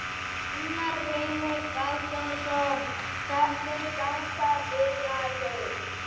Dæsir djúpt- eins og dreggjar dagsins líði um varir hennar.